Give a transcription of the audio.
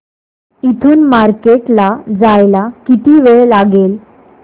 इथून मार्केट ला जायला किती वेळ लागेल